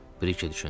Brike düşündü.